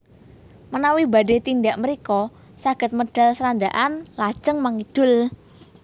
Menawi badhé tindak mrika saged medal Srandakan lajeng mangidul